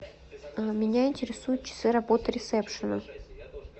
меня интересуют часы работы ресепшена